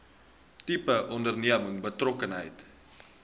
tipe onderneming betrokkenheid